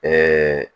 Ɛɛ